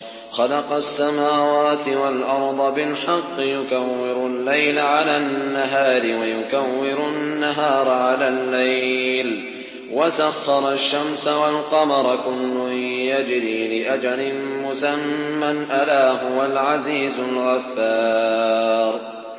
خَلَقَ السَّمَاوَاتِ وَالْأَرْضَ بِالْحَقِّ ۖ يُكَوِّرُ اللَّيْلَ عَلَى النَّهَارِ وَيُكَوِّرُ النَّهَارَ عَلَى اللَّيْلِ ۖ وَسَخَّرَ الشَّمْسَ وَالْقَمَرَ ۖ كُلٌّ يَجْرِي لِأَجَلٍ مُّسَمًّى ۗ أَلَا هُوَ الْعَزِيزُ الْغَفَّارُ